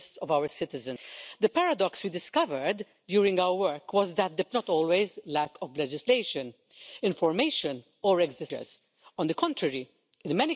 timetable but, when there is a will, a way will always be found to improve lives and to deliver tangible benefits to our citizens.